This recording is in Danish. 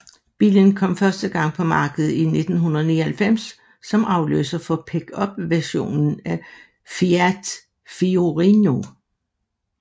Bilen kom første gang på markedet i 1999 som afløser for pickupversionen af Fiat Fiorino